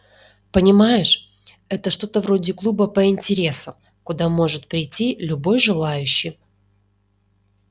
понимаешь это что-то вроде клуба по интереса куда может прийти любой желающий